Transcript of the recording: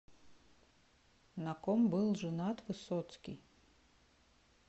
на ком был женат высоцкий